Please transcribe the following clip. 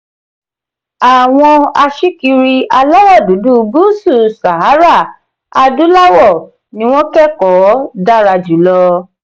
àwọn aṣíkiri aláwọ̀ dúdú gúúsù sahara adúláwọ̀ ni wọ́n kẹ́kọ̀ọ́ dára jùlọ.